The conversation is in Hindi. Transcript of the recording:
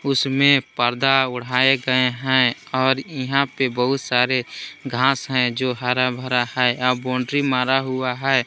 उसमें पर्दा उढ़ाया गए हैं और यहां पर बहुत सारे घास हैं जो हरा भरा है और बाउंड्री मारा हुआ है।